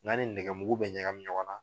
N'a ni nɛgɛ mugu bɛ ɲagai ɲɔgɔn na.